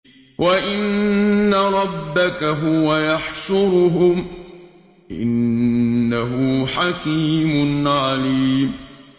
وَإِنَّ رَبَّكَ هُوَ يَحْشُرُهُمْ ۚ إِنَّهُ حَكِيمٌ عَلِيمٌ